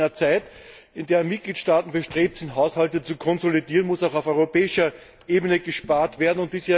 Besonders in einer Zeit, in der Mitgliedstaaten bestrebt sind, Haushalte zu konsolidieren, muss auch auf europäischer Ebene gespart werden.